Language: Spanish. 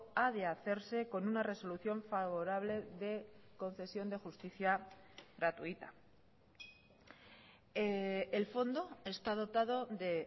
ha de hacerse con una resolución favorable de concesión de justicia gratuita el fondo está dotado de